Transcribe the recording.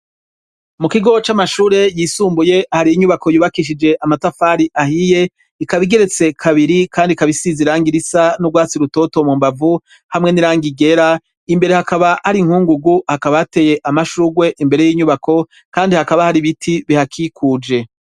Mu kigo c'amashure yisumbuye hari inyubako yubakishije amatafari ahiye ikaba igeretse kabiri kandi ikaba isize irangi risa n'urwatsi rutoto mu mbavu hamwe n'irangi ryera imbere hakaba hari inkungugu hakaba hateye amashurwe imbere y'inyubako kandi hakaba hari ibiti bihakikuje.